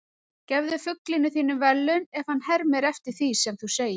Gefðu fuglinum þínum verðlaun ef hann hermir eftir því sem þú segir.